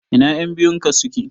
Ina ƴan biyun ka suke?